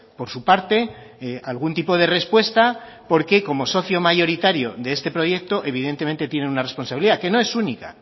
por su parte algún tipo de respuesta porque como socio mayoritario de este proyecto evidentemente tiene una responsabilidad que no es única